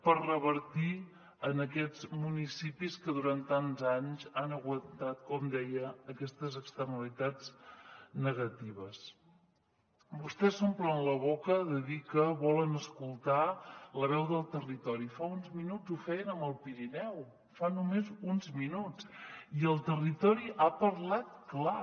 per revertir en aquests municipis que durant tants anys han aguantat com deia aquestes externalitats negatives vostès s’omplen la boca de dir que volen escoltar la veu del territori fa uns minuts ho feien amb el pirineu fa només uns minuts i el territori ha parlat clar